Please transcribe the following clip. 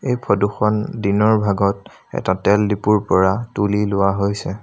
এই ফটো খন দিনৰ ভাগত এটা তেল দিপুৰ পৰা তুলি লোৱা হৈছে।